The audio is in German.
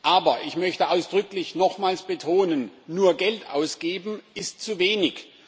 Aber ich möchte ausdrücklich nochmals betonen Nur Geld ausgeben, ist zu wenig.